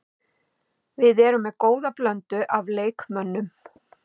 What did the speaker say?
Við erum með góða blöndu af leikmönnum.